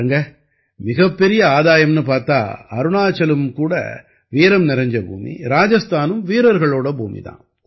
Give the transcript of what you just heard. பாருங்க மிகப்பெரிய ஆதாயம்னு பார்த்தா அருணாச்சலும் கூட வீரம் நிறைஞ்ச பூமி ராஜஸ்தானும் வீரர்களோட பூமி தான்